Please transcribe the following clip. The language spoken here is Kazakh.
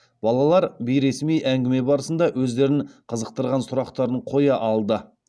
балалар бейресми әңгіме барысында өздерін қызықтырған сұрақтарын қоя алды